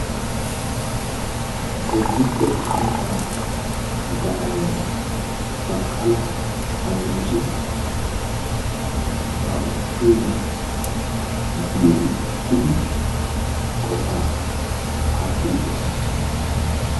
Bodditte ambbaa gadaawayi baqqala phawuloossi ba oottiyo biiruwan uttidi qofaa aattiiddi de"es.